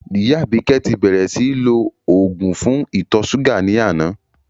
Ìyá Àbíkẹ́ ti bẹ́rẹ́ síì lò òògùn fún ìtọ̀ ṣúgà ní àná